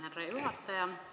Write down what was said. Härra juhataja!